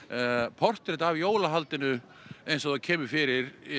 portrett af jólahaldinu eins og það kemur fyrir